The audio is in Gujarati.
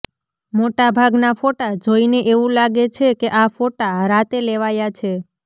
મોટા ભાગના ફોટા જોઈને એવું લાગે છે કે આ ફોટા રાતે લેવાયા છે